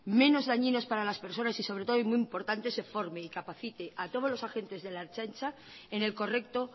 menos dañinos para las personas y sobre todo y muy importante se forme y capacite a todos los agentes de la ertzaintza en el correcto